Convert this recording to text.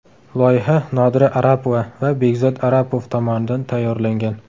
Loyiha Nodira Arapova va Bekzod Arapov tomonidan tayyorlangan.